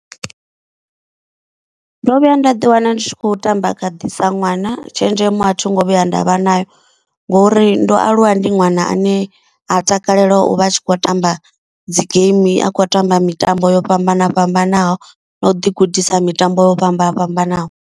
Ndo vhuya nda ḓi wana ndi tshi kho tamba khadi sa ṅwana. Tshenzhemo a thi ngo vhuya ndavha nayo ngori ndo aluwa ndi ṅwana ane a takalela u vha a tshi kho tamba dzi geimi. A khou tamba mitambo yo fhambana fhambanaho na u ḓi gudisa mitambo yo fhambana fhambanaho.